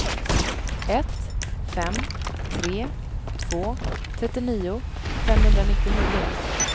ett fem tre två trettionio femhundranittionio